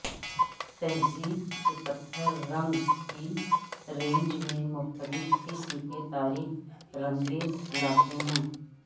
تہذیب کے پتھر رنگ کی رینج میں مختلف قسم کے تاریک رنگیں لاتے ہیں